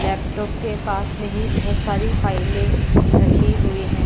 Laptop के पास मे ही बहुत सारी फाइलें रखी हुई हैं ।